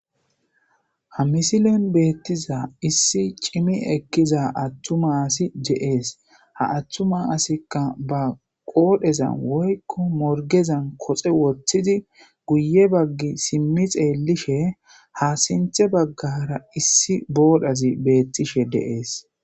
Hamisilen beettiza issi cimi ekkizaattuma asi de7ees.ha attuma asikka baqoodheza woykko ba morggezan koxe wothidi guyye bagge simmi xeellishede7ees.